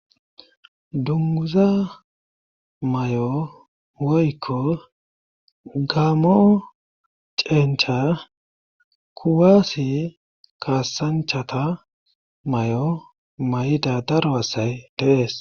Dunguza may'o woykko gaamo cencha kuwaasi kaasanchata may'o may'ida daro asay deees.